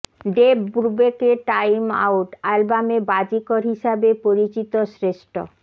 Dave ব্রুবেকের time out অ্যালবামে বাজিকর হিসাবে পরিচিত শ্রেষ্ঠ